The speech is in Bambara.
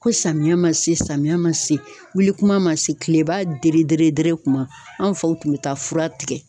Ko samiya ma se samiya ma se wuli kuma ma se kileba dere dere dere kuma anw faw tun be taa fura tigɛ